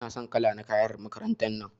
Ina son kala na kayan makarantar nan.